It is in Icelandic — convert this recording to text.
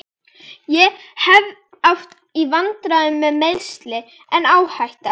Ég hef átt í vandræðum með meiðsli, en áhætta?